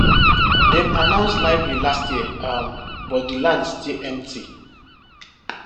dem announce library last year um but the land still empty